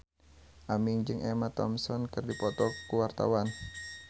Aming jeung Emma Thompson keur dipoto ku wartawan